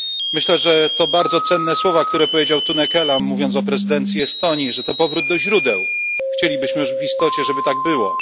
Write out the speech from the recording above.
Myślę, że to bardzo cenne słowa, które powiedział Tunne Kelam, mówiąc o prezydencji Estonii, że to powrót do źródeł. Chcielibyśmy w istocie, żeby tak było.